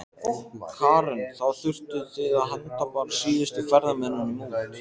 Karen: Þá þurftuð þið að henda bara síðustu ferðamönnunum út?